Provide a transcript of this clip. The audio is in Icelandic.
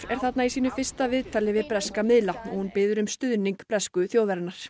er þarna í sínu fyrsta viðtali við breska miðla og hún biður um stuðning bresku þjóðarinnar